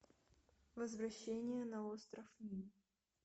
возвращение на остров ним